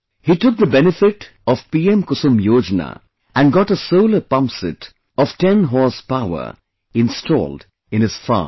He took the benefit of 'PM Kusum Yojana' and got a solar pumpset of ten horsepower installed in his farm